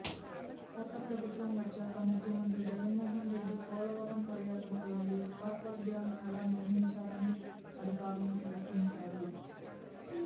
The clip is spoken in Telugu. కొత్త ప్రభుత్వం వచ్చాక ముఖ్యమంత్రి జగన్మోహనరెడ్డి పోలవరం పర్యటనకు వెళ్ళి కాఫర్ డ్యాంను ఎలా నిర్మించారని అధికారులను ప్రశ్నించారు